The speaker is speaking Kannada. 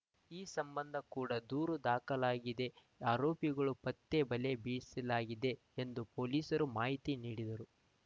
ಈ ಸಂಬಂಧ ಕೂಡ ದೂರು ದಾಖಲಾಗಿದೆ ಆರೋಪಿಗಳ ಪತ್ತೆ ಬಲೆ ಬೀಸಲಾಗಿದೆ ಎಂದು ಪೊಲೀಸರು ಮಾಹಿತಿ ನೀಡಿದರು